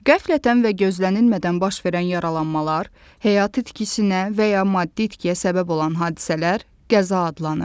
Qəflətən və gözlənilmədən baş verən yaralanmalar, həyati itkisinə və ya maddi itkiyə səbəb olan hadisələr qəza adlanır.